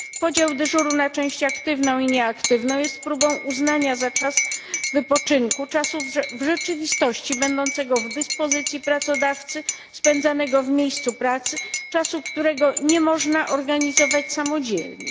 Podział dyżuru na część aktywną i nieaktywną jest próbą uznania za czas wypoczynku czasu w rzeczywistości będącego w dyspozycji pracodawcy, spędzanego w miejscu pracy, czasu, którego nie można organizować samodzielnie.